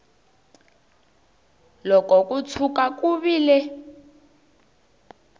loko ko tshuka ku vile